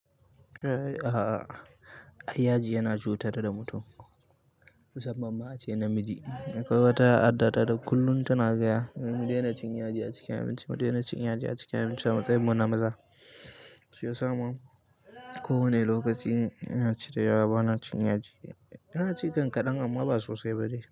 A'a, ai yaji yana cutar da mutum musamman ma a ce namiji. Kowa ta addata da kullum tana gaya, mu daina cin a cikin abinci, mu daina cin yaji a cikin abinci a matsayin mun na maza. Su sa sa ma ko. Kowane lokaci in ina ci, da yawa bana cin da yaji. Ina ci kan kaɗan amma ba sosai ba.